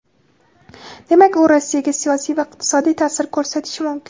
Demak u Rossiyaga siyosiy va iqtisodiy ta’sir ko‘rsatishi mumkin.